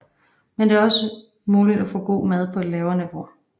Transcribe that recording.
Men det er også muligt at få god mad på et lavere niveau